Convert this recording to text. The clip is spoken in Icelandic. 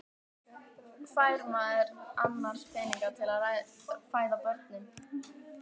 Hvar fær maður annars peninga til að fæða börnin?